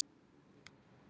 Sigurbjörn tók til máls.